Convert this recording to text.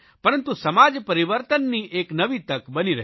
પરંતુ સમાજ પરિવર્તનની એક નવી તક બની રહ્યો